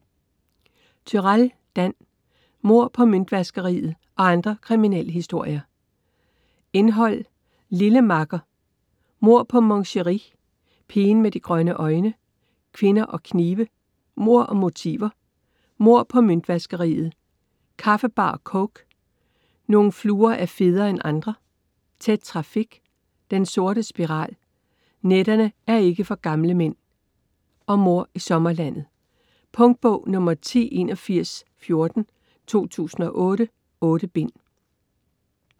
Turèll, Dan: Mord på møntvaskeriet og andre kriminalhistorier Indhold: Lille makker; Mord på Mon Chérie; Pigen med de grønne øjne; Kvinder og knive; Mord og motiver; Mord på møntvaskeriet; Kaffebar og coke; Nogle fluer er federe end andre; Tæt trafik; Den sorte spiral; Nætterne er ikke for gamle mænd; Mord i sommerlandet. Punktbog 108114 2008. 8 bind.